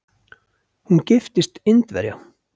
Hún giftist Indverja.